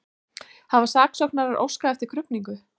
Hafa saksóknarar óskað eftir krufningu